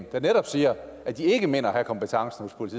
der netop siger at de ikke mener at have kompetencen hos